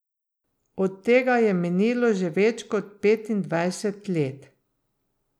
Od tega je minilo že več kot petindvajset let.